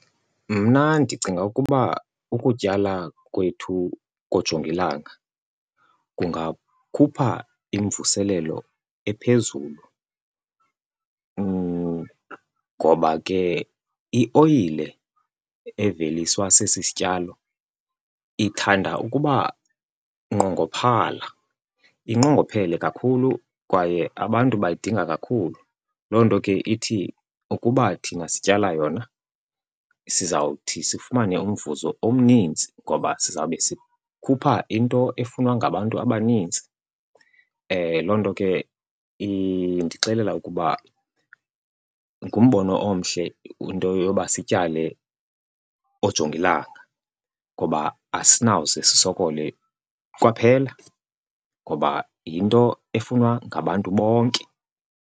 Mna ndicinga ukuba ukutyala kwethu koojongilanga kungakhupha imvuselelo ephezulu ngoba ke ioyile eveliswa sesi sityalo ithanda ukuba nqongophala, inqongophele kakhulu kwaye abantu bayidinga kakhulu. Loo nto ke ithi ukuba thina sityala yona sizawuthi sifumane umvuzo omninzi ngoba sizawube sikhupha into efunwa ngabantu abanintsi. Loo nto ke indixelela ukuba ngumbono omhle into yoba sityale oojongilanga ngoba asinawuze sisokole kwaphela ngoba yinto efunwa ngabantu bonke.